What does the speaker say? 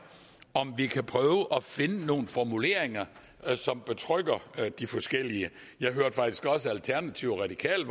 om vi kan prøve at finde nogle formuleringer som betrygger de forskellige jeg hørte faktisk også at alternativet og radikale